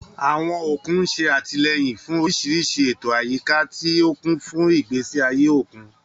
Àwọn òkun ń ṣe àtìlẹ́yìn fún oríṣiríṣi ètò àyíká, tí ó kún fún ìgbésí ayé òkun.